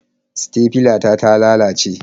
Sitefila ta ta lalace.